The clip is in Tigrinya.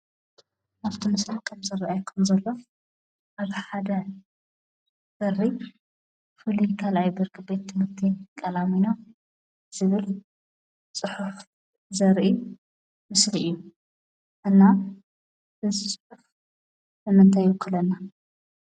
ኣብቲ ምስሊ ከም ዝረአየኩም ዘሎ ኣብ ሓደ በሪ ፍሉይ 2ይ ብርኪ ቤት ትምህርቲ ቃላሚኖ ዝብል ፅሑፍ ዘርኢ ምስሊ እዩ፡፡ እና እዚ ፅሑፍ ንምንታይ ይውክለልና?